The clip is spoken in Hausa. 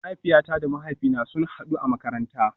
Mahaifiyata da mahaifina sun hadu a makaranta